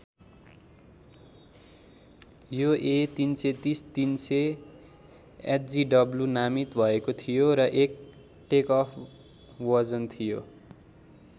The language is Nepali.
यो ए३३० ३००एचजिडब्लू नामित भएको थियो र एक टेकओफ वजन थियो।